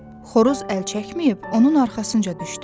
Xoruz əl çəkməyib onun arxasınca düşdü.